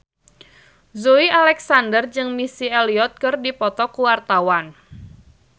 Joey Alexander jeung Missy Elliott keur dipoto ku wartawan